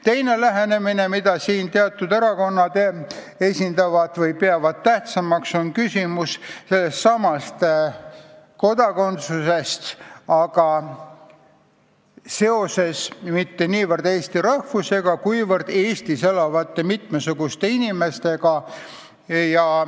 Teine lähenemine, mida siin teatud erakonnad peavad tähtsamaks, on küsimus sellestsamast kodakondsusest, aga seoses mitte niivõrd eesti rahvusega, kuivõrd Eestis elavate mitmesuguste inimestega.